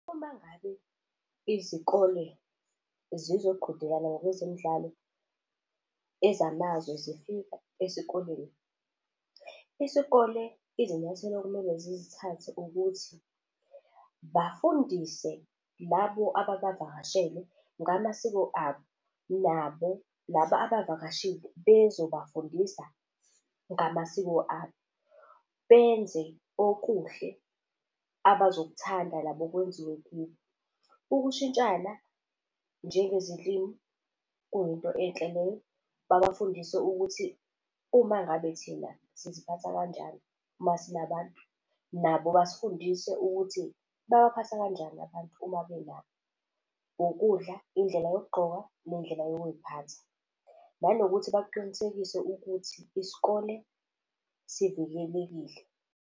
Uma ngabe izikole zizoqhudelana ngokwezemidlalo, ezamazwe zifika esikoleni, isikole izinyathelo okumele zizithathe ukuthi bafundise labo ababavakashele ngamasiko abo, nabo laba abavakashile bezobafundisa ngamasiko abo, benze okuhle abazokuthanda nabo kwenziwe kubo. Ukushintshana njengezilimi kuyinto enhle leyo. Babafundise ukuthi uma ngabe thina siziphatha kanjani masinabantu, nabo basifundise ukuthi babaphatha kanjani abantu uma bela. Ukudla, indlela yokugqoka nendlela yokuy'phatha, nanokuthi baqinisekise ukuthi isikole sivikelekile.